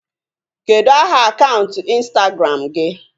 Kedụ aha akaụntụ ịnstagram gị?